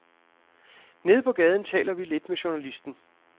Nede på gaden taler vi lidt med journalisten.